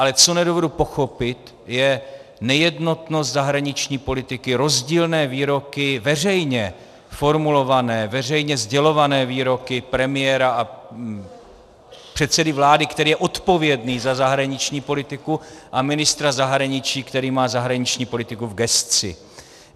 Ale co nedovedu pochopit, je nejednotnost zahraniční politiky, rozdílné výroky veřejně formulované, veřejně sdělované výroky premiéra a předsedy vlády, který je odpovědný za zahraniční politiku, a ministra zahraničí, který má zahraniční politiku v gesci.